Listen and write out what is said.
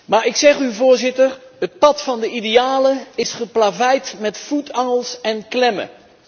Maar ik zeg u, Voorzitter het pad van de idealen is geplaveid met voetangels en klemmen.